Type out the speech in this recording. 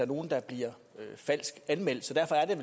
nogle der bliver falsk anmeldt så derfor er